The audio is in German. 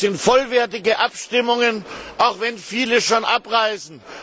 Das sind vollwertige Abstimmungen, auch wenn viele schon abreisen.